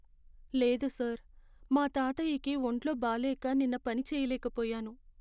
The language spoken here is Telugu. లేదు సార్, మా తాతయ్యకి వొంట్లో బాలేక నిన్న పని చేయలేకపోయాను.